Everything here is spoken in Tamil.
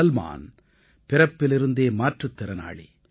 சல்மான் பிறப்பிலிருந்தே மாற்றுத்திறனாளி